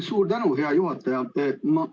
Suur tänu, hea juhataja!